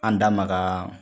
An da maka